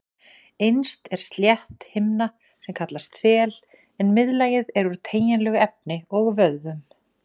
Innst er slétt himna sem kallast þel en miðlagið er úr teygjanlegu efni og vöðvum.